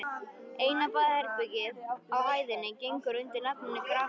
Eina baðherbergið á hæðinni gengur undir nafninu Grafhýsið.